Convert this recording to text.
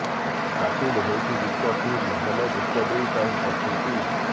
ବାତିଲ ହୋଇଛି ଯୁକ୍ତ ତିନି ହେଲେ ଯୁକ୍ତ ଦୁଇ ପାଇଁ ପ୍ରସ୍ତୁତି